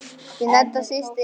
Þín Edda systir.